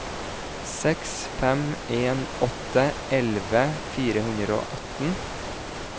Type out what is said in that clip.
seks fem en åtte elleve fire hundre og atten